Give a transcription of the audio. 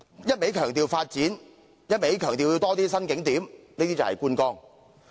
一味強調發展，一味強調要增加新景點，這便是觀光。